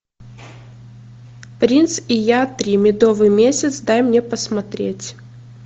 принц и я три медовый месяц дай мне посмотреть